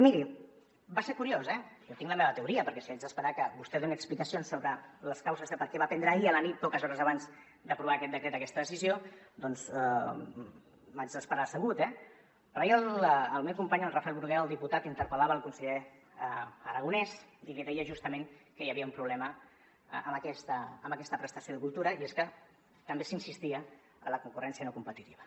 miri va ser curiós eh jo tinc la meva teoria perquè si haig d’esperar que vostè doni explicacions sobre les causes de per què va prendre ahir a la nit poques hores abans d’aprovar aquest decret aquesta decisió doncs m’haig d’esperar assegut eh però ahir el meu company el rafel bruguera el diputat interpel·lava el conseller aragonès i li deia justament que hi havia un problema amb aquesta prestació de cultura i és que també s’insistia en la concurrència no competitiva